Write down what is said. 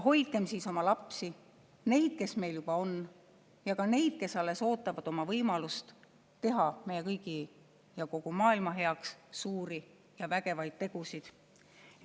Hoidkem oma lapsi, nii neid, kes meil juba on, ja ka neid, kes alles ootavad oma võimalust teha meie kõigi ja kogu maailma heaks suuri ja vägevaid tegusid.